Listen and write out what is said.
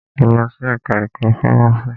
Mo lọ sí ẹka ẹ̀kọ́ fámási.